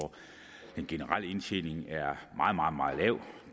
den generelle indtjening er meget meget lav